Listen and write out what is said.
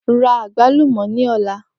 Ra agbalumo ni ọla!